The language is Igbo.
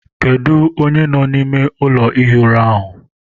Kedụ onye nọ n'ime ụlọ ihi ura ahụ?